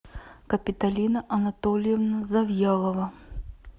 капиталина анатольевна завьялова